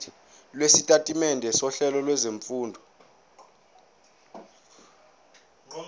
lwesitatimende sohlelo lwezifundo